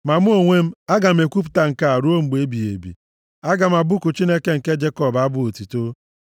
Ma mụ onwe m, aga m ekwupụta nke a ruo mgbe ebighị ebi. Aga m abụku Chineke nke Jekọb abụ otuto,